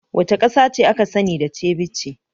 Wace ƙasa ce aka sani da ceviche?